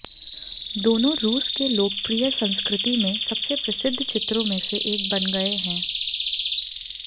दोनों रूस के लोकप्रिय संस्कृति में सबसे प्रसिद्ध चित्रों में से एक बन गए हैं